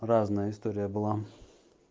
разная история была